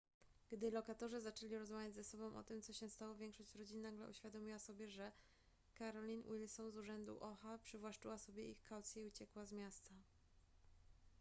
gdy lokatorzy zaczęli rozmawiać ze sobą o tym co się stało większość rodzin nagle uświadomiła sobie że carolyn wilson z urzędu oha przywłaszczyła sobie ich kaucje i uciekła z miasta